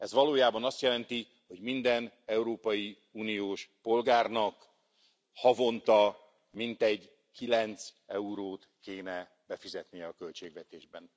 Ez valójában azt jelenti, hogy minden európai uniós polgárnak, havonta mintegy 9 eurót kéne befizetnie a költségvetésbe.